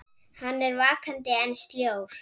Hann er vakandi en sljór.